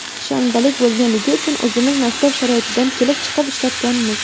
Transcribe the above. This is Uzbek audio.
Shanbalik bo‘lganligi uchun o‘zimiz maktab sharoitidan kelib chiqib ishlatganmiz.